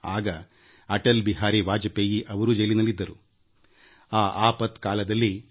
ಆಗ ಅಟಲ್ ಬಿಹಾರಿ ವಾಜಪೇಯಿ ಅವರೂ ಸಹ ಸೆರೆವಾಸದಲ್ಲಿದ್ದರು